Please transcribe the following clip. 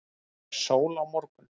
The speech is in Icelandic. er sól á morgun